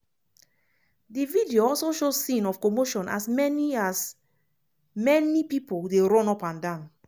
di video also show scene of commotion as many as many pipo dey run upandan.